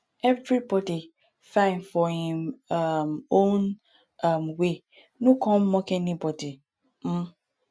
everybody fine for em um own um way no come dey mock anybody um